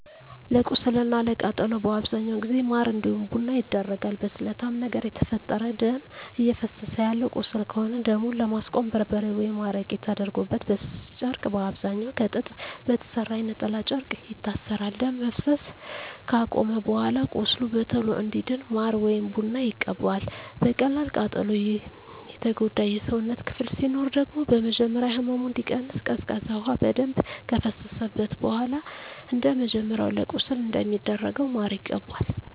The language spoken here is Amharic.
ለቁስል እና ለቃጠሎ በአብዛኛው ጊዜ ማር እንዲሁም ቡና ይደረጋል። በስለታማ ነገር የተፈጠረ ደም እፈሰሰ ያለው ቁስል ከሆነ ደሙን ለማስቆም በርበሬ ወይም አረቄ ተደርጎበት በስስ ጨርቅ በአብዛኛዉ ከጥጥ በተሰራ የነጠላ ጨርቅ ይታሰራል። ደም መፍሰስ አከቆመም በኃላ ቁስሉ በቶሎ እንዲድን ማር ወይም ቡና ይቀባል። በቀላል ቃጠሎ የጎዳ የሰውነት ክፍል ሲኖር ደግሞ በመጀመሪያ ህመሙ እንዲቀንስ ቀዝቃዛ ውሃ በደንብ ከፈሰሰበት በኃላ እንደመጀመሪያው ለቁስል እንደሚደረገው ማር ይቀባል።